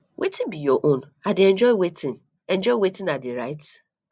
wetin be your own i dey enjoy wetin enjoy wetin i dey write